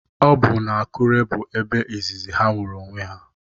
Ọ bụ n'Akure bụ ebe izizi ha hụrụ onwe ha